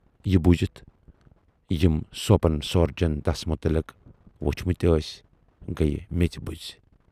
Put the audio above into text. یہِ بوٗزِتھ یِم سوپن سوٗرجَن تس مُتلق وُچھمٕتۍ ٲسۍ گٔیہِ میژِ بُزۍ۔